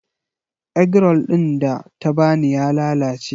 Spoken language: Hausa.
Egg roll ɗin da ta ba ni ya lalace.